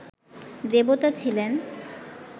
দেবতা ছিলেন